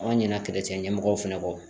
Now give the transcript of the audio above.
An ɲina kɛlɛ cɛ ɲɛmɔgɔw fɛnɛ kɔ